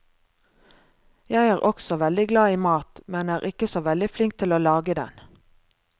Jeg er også veldig glad i mat, men er ikke så veldig flink til å lage den.